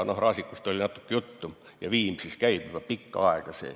Raasikust oli natukene juttu ja Viimsis käib see juba pikka aega.